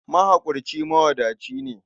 Mahaƙurci mawadaci ne.